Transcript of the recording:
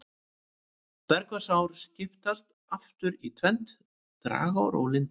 Bergvatnsár skiptast aftur í tvennt, dragár og lindár.